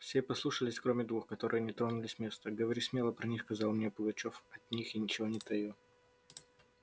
все послушались кроме двух которые не тронулись с места говори смело при них сказал мне пугачёв от них я ничего не таю